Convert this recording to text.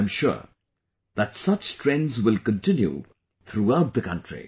I am sure that such trends will continue throughout the country